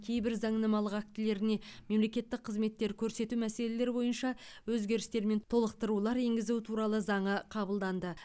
кейбір заңнамалық актілеріне мемлекеттік қызметтер көрсету мәселелері бойынша өзгерістер мен толықтырулар енгізу туралы заңы қабылданды